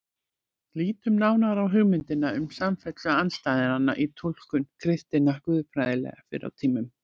Lítum nánar á hugmyndina um samfellu andstæðnanna í túlkun kristinna guðfræðinga fyrr á tímum.